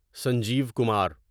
Sanjeev Kumar